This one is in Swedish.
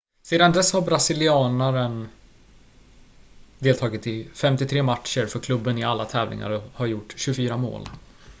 sedan dess har brasilianaren deltagit i 53 matcher för klubben i alla tävlingar och har gjort 24 mål